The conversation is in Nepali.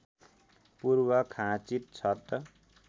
पूर्व खाँचित छत